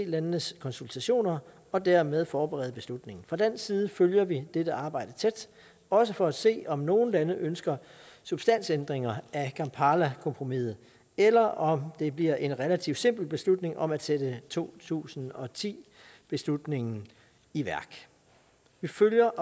landenes konsultationer og dermed forberede beslutningen fra dansk side følger vi dette arbejde tæt også for at se om nogle lande ønsker substansændringer af kampalakompromiset eller om det bliver en relativt simpel beslutning om at sætte to tusind og ti beslutningen i værk vi følger